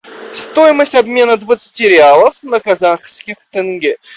стоимость обмена двадцати реалов на казахских тенге